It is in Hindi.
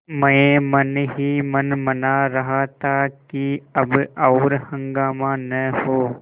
मैं मन ही मन मना रहा था कि अब और हंगामा न हो